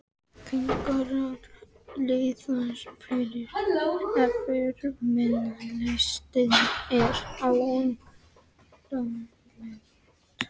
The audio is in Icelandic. Kennarar, liðsforingjar, yfirmenn- listinn er óendanlegur.